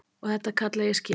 Og þetta kalla ég skipulag.